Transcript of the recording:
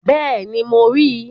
Bẹ́ẹ̀ni, mo ríi